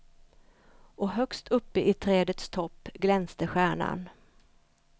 Och högst uppe i trädets topp glänste stjärnan.